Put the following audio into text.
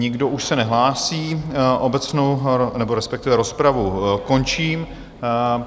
Nikdo už se nehlásí, obecnou, nebo respektive rozpravu končím.